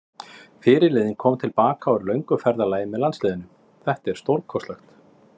Fyrirliðinn kom til baka úr löngu ferðalagi með landsliðinu, þetta er stórkostlegt.